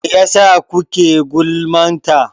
Mai yasa kuke gulman ta?